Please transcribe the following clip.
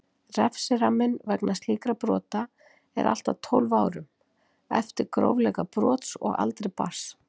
Refsiramminn vegna slíkra brota er allt að tólf árum, eftir grófleika brots og aldri barns.